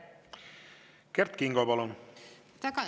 Kert Kingo, palun!